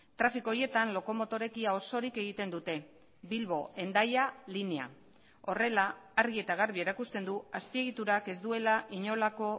trafiko horietan lokomotoreek ia osorik egiten dute bilbo hendaya linea horrela argi eta garbi erakusten du azpiegiturak ez duela inolako